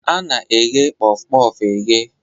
A na eghe Kpof-kpof e ghe.